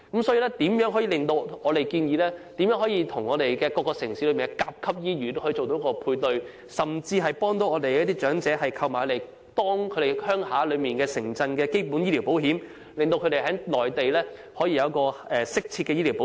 所以，我們建議當局與各城市的甲級醫院作出配對，甚至幫助長者購買家鄉城鎮的基本醫療保險，讓他們在內地可以得到適切的醫療保障。